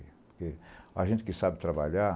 Porque a gente que sabe trabalhar,